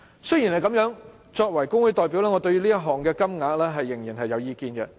雖然如此，作為工會代表，我對於這項款項仍然有意見。